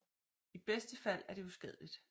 I bedste fald er det uskadeligt